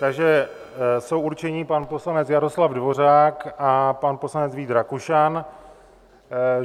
Takže jsou určeni pan poslanec Jaroslav Dvořák a pan poslanec Vít Rakušan.